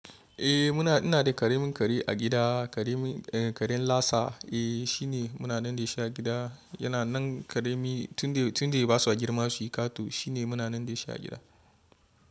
Eh muna, ina da ƙaramin kare a gida, ƙaramin ƙaren Lasa. Eh shine munanan da shi a gida. Yana nan ƙarami tunda, tunda ya basu girma suyi ƙato shine munanan da shi a gida.